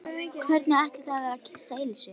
Hvernig ætli það væri að kyssa Elísu?